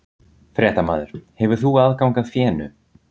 Fréttamaður: Hefur þú aðgang að fénu?